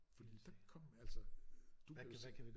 Fordi der kom altså du